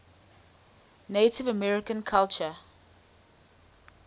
native american culture